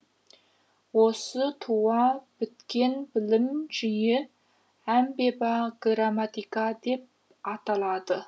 осы туа біткен білім жиі грамматика деп аталады